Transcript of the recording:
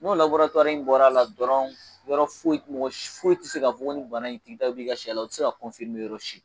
N'o in bɔra a la dɔrɔnw, yɔrɔ foyi mɔgɔ foyi tɛ se k'a fɔ ko nin bana in b'i ka sɛ la, u tɛ se k'a yɔrɔ si.